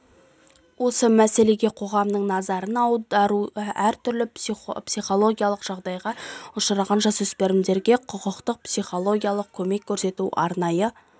осы мәселеге қоғамның назарын аудару әртүрлі психологиялық жағдайға ұшыраған жасөспірімге құқықтық психологиялық көмек көрсету арнайы